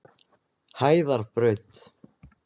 Hæðarbraut